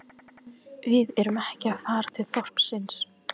Við erum ekki að fara til þorpsins